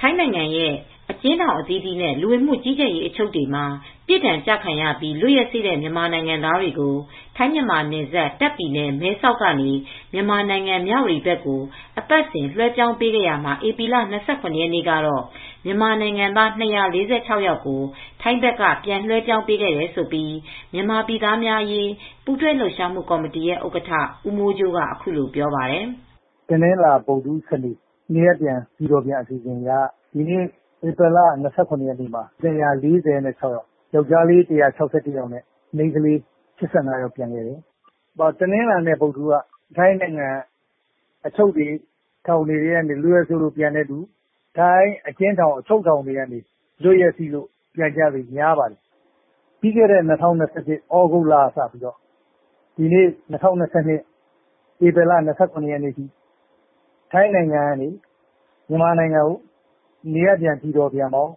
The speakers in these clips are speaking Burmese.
ထိုင်းနိုင်ငံရဲ အကျဉ်းထောင် အသီးသီးနဲ့ လူဝင်မူကြီးကြပ်ရေး အချုပ်တွေမှာ ပြစ်ဒဏ်ကျခံရပြီး လွတ်ရက်စေ့တဲ့ မြန်မာနိုင်ငံသားတွေကို ထိုင်းမြန်မာနယ်စပ် တာ့ခ်ပြည်နယ် မဲဆောက်ကနေ မြန်မာနိုင်ငံ မြဝတီဘက် ကို အပတ်စဉ် ပြန်လွဲှပြောင်းပေးခဲ့ရာမှာ ဧပြီလ ၂၇ရက်နေ့ ကတော့ မြန်မာနိုင်ငံသား၂၄၆ယောက်ကို ထိုင်းဘက်က ပြန်လွှဲပြောင်းပေးခဲ့တယ်လို့မြန်မာပြည်သားများအရေး ပူးတွဲလှုပ်ရှားမူ့ ကော်မတီရဲ ဥက္ကဌ ဦးမိုးကြိုး ကအခုလိုပြောပါတယ်။ "တနလာၤ ဗုဒ္ဒဟူး စနေ့ နေရပ်ပြန် ပြည်တော်ပြန် အစီစဉ်အရ ဧပြီလ ၂၇ ရက်နေ့မှာ ၂၄၆ ယောက်ပြန်ပါတယ်။ ယောက်ကျားလေး၁၆၁ယောက် နဲ့ မိန်းကလေး ၈၅ယောက်ပြန်ပါတယ်။ တနင်္လာ နဲ့ ဗုဒ်ဓဟူးနေ့ က ထိုင်း အကျဉ်ထောင်တွေ အချုပ်ထောင်တွေက လွတ်ရက်စေ့လို့ ပြန်ပို့သူများပါတယ်။ ပြီးခဲ့တဲ့ ၂၀၂၁ သြဂုတ်လကစပြီး ဒီနေ့ ၂၀၂၂ ဧပြီလ ၂၇ရက်နေ့ထိ ထိုင်းနိုင်ငံကနေ မြန်မာနိုင်ငံကို နေရပ်ပြန် ပြည်တော်ပြန်ပေါင်း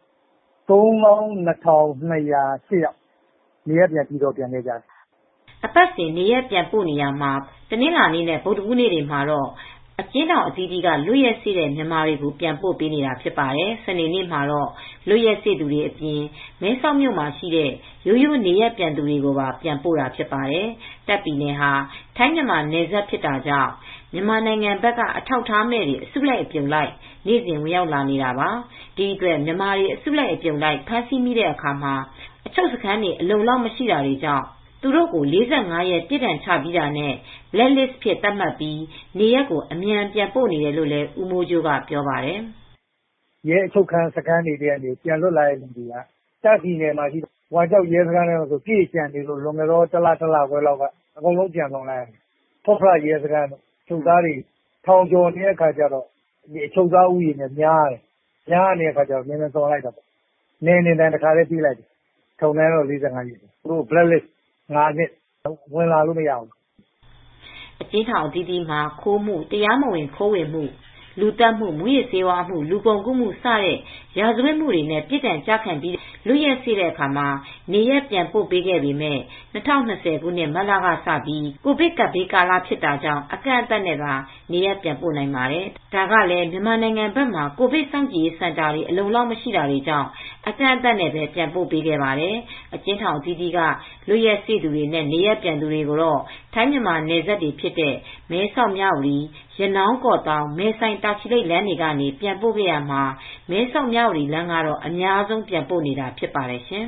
၃၂၂၀၈ယောက် နေရပ်ပြန်ပြည်တော်ပြန်ခဲ့ကြတယ်" အပတ်စဉ် နေရပ်ပြန်ပို့ရာမှာ တနင်္လာနေ့နဲ့ ဗုဒဟူးနေ့တွေမှာတော့ အကျဉ်းအသီးသီး လွတ်ရက်စေ့တဲ့ မြန်မာတွေကို ပြန်ပို့တာဖြစ်ပါတယ် ။ စနေ့နေ့မှာတော့ လွတ်ရက်စေ့သူတွေအပြင် မဲဆောက်မြို့မှာရှိတဲ့ ရိုးရိုးနေရပ် ပြန်သူတွေကိုပြန်ပို့တာဖြစ်ပါတယ်။ တာ့ခ်ပြည်နယ်ဟာ ထိုင်းမြန်မာနယ်စပ် ဖြစ်တာကြောင့် မြန်မာနိုင်ငံဘက်က အထောက်အထားမဲ့တွေ အစုလိုက်အပြုံလိုက် နေ့စဉ်ဝင်ရောက်နေတာပါ။ ဒီအတွက် မြန်မာတွေအစုလိုက် အပြုံလိုက် ဖမ်းဆီးမိတဲ့အခါမှာ အချုပ်စခန်းတွေ အလုံအလောက်မရှိတာကြောင့် သူတု့ိကို ၄၅ရက် ပြစ်ဒဏ်ချပြီးတာနဲ့ Black List အဖြစ်သတ်မှတ်ပြီး နေရပ်ကို အမြန်ပြန်ပို့နေတယ် လို့လည်း ဦးမိုးကြိုးက ပြောပါတယ်။ "ရဲအချုပ်စခန်းကနေ ပြန်လွတ်လာတဲ့သူတွေက ဝမ်ကျောက်ရဲစခန်းမှာ ပြည့်လျှံနေလို့ လွန်ခဲ့တဲ့ တလကျော်လောက်ကဆို အမြန်ဆုံးပြန်သွန်ရတယ် ( ပြန်လွှတ်ပေးလိုက်ရတယ်) ဖွတ်ဖရရဲစခန်းမှာလည်း အချုပ်သားတွေ ထောင်ကျော်နေတော့ အချုပ်သား ဉ်ီးရေကများတော့ မြန်မြန်ပြန်လွှတ်ရတယ်။ နယ်နှင်ဒဏ် တခါတည်းပေးလိုက်တယ်။ ထောင်ဒဏ်ကတော့ ၄၅ရက် ကျတယ်။ သူတို့ကို ၅နှစ်ပြန်ဝင်လာလို့မရဘူး။ Black List တခါတည်းပေးလိုက်ရတယ်" ့ အကျဉ်းထောင် အသီးသီးမှာ ခိုးမှု၊တရားမဝင်ခိုးဝင်မှု၊ လူသတ်မှု၊ မူးယစ်ဆေးဝါးအမှု၊ လူကုန်ကူးမှု စတဲ့ ရာဇဝတ်မှုတွေနဲ့ ပြစ်ဒဏ်ကျပြီး လွတ်ရက်စေ့တဲ့အခါ နေရပ်ပြန်ပို့ခဲ့ပေမယ့် ၂၀၂၀ မတ်လကစပြီး ကိုဗစ်ကပ်ဘေး ကာလမှာ အကန့်အသတ်နဲ့သာ နေရပ်ပြန်ပို့နိုင်ပါတယ်။ ဒါကလည်း မြန်မာနိုင်ငံဘက်မှာ ကိုဗစ်စောင့်ကြည်ရေး စင်တာတွေ အလုံအလောက်မရှိတာကြောင့် အကန့်အသတ်နဲ့ပဲ ပြန်ပို့ခဲ့ပါတယ်။ အကျဉ်းထောင်အသီးသီးက လွတ်ရက်စေ့သူတွေနဲ့ နေရပ်ပြန်တွေကို ထိုင်းမြန်မာနယ်စပ်တွေဖြစ်တဲ့ မဲဆောက်၊ မြဝတီ၊ ရနောင်း၊ ကော့သောင်း ၊ မယ်ဆိုင်တာချီလိပ်လမ်းတွေကနေ ပြန်ပို့ခဲ့ရာမှာ မဲဆောက်၊ မြဝတီလမ်းကတော့ အများဆုံးပြန်ပို့နေတာ ဖြစ်ပါတယ်ရှင်